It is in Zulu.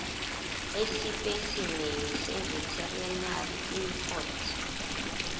esipesimeni seveterinary import